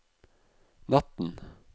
natten